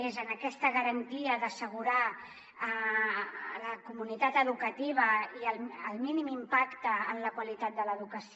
és en aquesta garantia d’assegurar a la comunitat educativa el mínim impacte en la qualitat de l’educació